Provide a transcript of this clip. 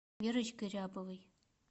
верочкой рябовой